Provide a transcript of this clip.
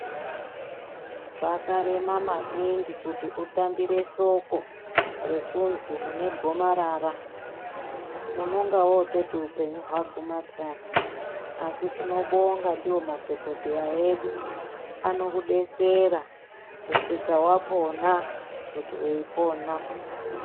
Zvakarema maningi kuti utambire soko rekuzi une gomarara uunenge woototi upenyu hwaguma pheyani asi tinobonga ndiwo madhokodheya edu anokudetsera kusvika wapona kuti weipona.